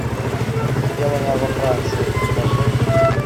сделано во франции покажи